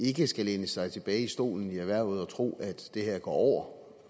ikke skal læne sig tilbage i stolen og tro at det her går over